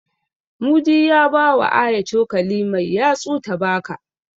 Mudi ya bawa Aya cokali mai yatsu ta baka.